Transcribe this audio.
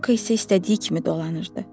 Loyko isə istədiyi kimi dolanırdı.